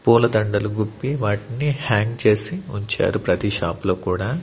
పూలదండలు గుప్పి వాటిని హ్యాంగ్ చేసి ఉంచారు ప్రతి షాప్ లో కూడా.